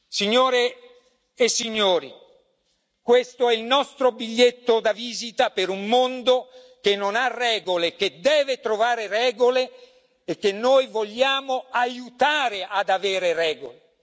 Signore e signori, questo è il nostro biglietto da visita per un mondo che non ha regole ma che deve trovare regole e che noi vogliamo aiutare ad avere regole.